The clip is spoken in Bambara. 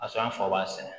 A sɔn an fa b'a sɛnɛ